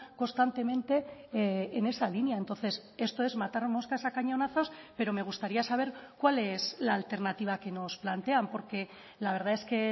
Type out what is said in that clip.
constantemente en esa línea entonces esto es matar moscas a cañonazos pero me gustaría saber cuál es la alternativa que nos plantean porque la verdad es que